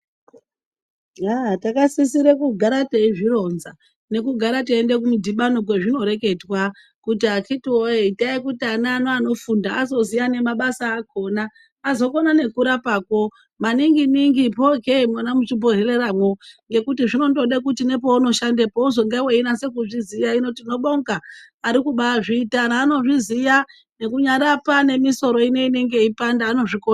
Yaaa takasisire kugara teizvironza, nekugara teiende kumidhibano kwazvinoreketwa kuti akhitiwoye Itai kuti ana anofunda azoziya nemabasa akhona .Azokona nekurapakwo maninginingi phooke nemuchibhedhleyamwo ngekuti zvinondode kuti nepeunoshanda uzenge weinase kuzviziya. Hino tinobonga ari kubaazviita. Anhu anozviziya nekunyarapa nemisoro ino inenge yeipanda, anozvikona.